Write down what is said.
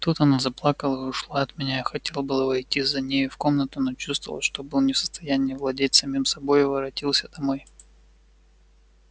тут она заплакала и ушла от меня я хотел было войти за нею в комнату но чувствовал что был не в состоянии владеть самим собою и воротился домой